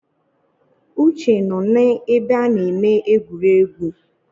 Uche nọ n’ebe a na-eme egwuregwu